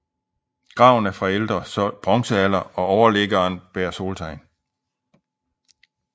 Graven er fra ældre bronzealder og overliggeren bærer soltegn